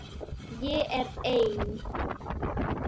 Ég er ein.